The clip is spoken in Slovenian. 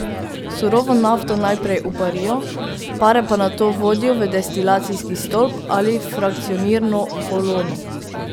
Surovo nafto najprej uparijo, pare pa nato vodijo v destilacijski stolp ali frakcionirno kolono.